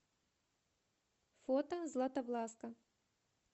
фото златовласка